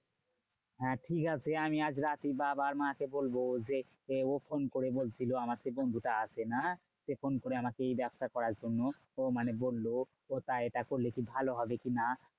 হ্যাঁ ঠিকাছে আমি আজ রাতেই বাবা আর মা কে বলবো। যে ও ফোন করে বলছিলো আমার যে বন্ধুটা আছে না? সে ফোন করে আমাকে এই ব্যাবসা করার জন্য মানে বললো। তা এটা করলে কি ভালো হবে কি না?